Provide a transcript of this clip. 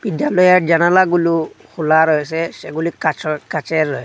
দেয়ালের জানালাগুলু খোলা রয়েসে সেগুলি কাচর কাচের র--